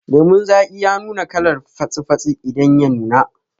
Lemun zaki ya nuna kalar fatsi fatsi idan ya nuna